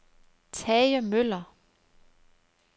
Tage Møller